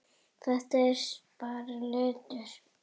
Þetta er bara litur.